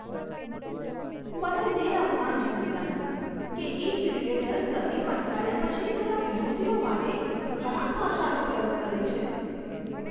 મને તે અપમાનજનક લાગ્યું કે એક ક્રિકેટર સદી ફટકાર્યા પછી તેના વિરોધીઓ માટે ખરાબ ભાષાનો પ્રયોગ કરે છે.